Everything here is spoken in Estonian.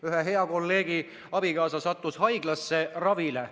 Ühe hea kolleegi abikaasa sattus haiglasse ravile.